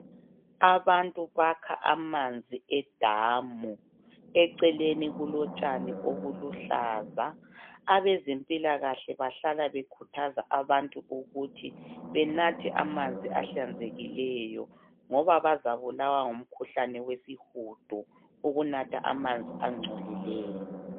abantu bakha amanzi e damu eceleni kulotshani obuluhlaza abezempilakahle bahlala bekhuthaza abantu ukuthi benathwe amanzi ahlanzekileyo ngoba bazabulawa ngumkhuhlane wesihudo ukunatha amanzi ancolileyo